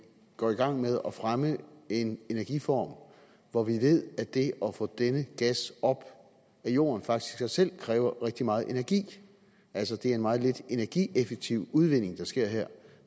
går i gang med at fremme en energiform hvor vi ved at det at få denne gas op af jorden faktisk i sig selv kræver rigtig meget energi altså det er en meget lidt energieffektiv udvinding der sker her